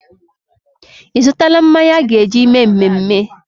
Ị zụtaala mmanya a ga-eji mee mmemme?